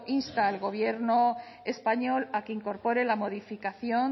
insta al gobierno español a que incorpore la modificación